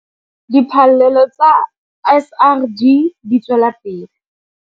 Diphallelo tsa SRD di tswela pele.